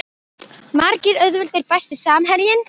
Margir auðveldir Besti samherjinn?